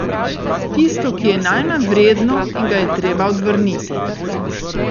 Tisto, ki je najmanj vredno in ga je treba odvrniti.